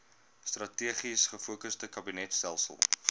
strategies gefokusde kabinetstelsel